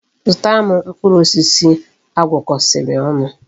Zụtara m mkpụrụ osisi agwọkosiri onu